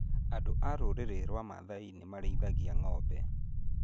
Andũ a rũrĩrĩ rwa Maathai nĩ marĩithagua ng'ombe.